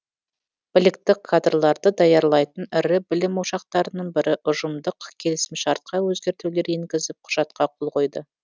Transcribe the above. білікті кадрларды даярлайтын ірі білім ошақтарының бірі ұжымдық келісімшартқа өзгертулер енгізіп құжатқа қол қойды